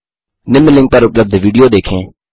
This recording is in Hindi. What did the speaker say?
निम्न लिंक पर उपलब्ध विडियो देखें